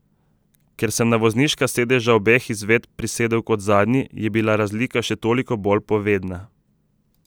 Ker sem na vozniška sedeža obeh izvedb prisedel kot zadnji je bila razlika še toliko bolj povedna.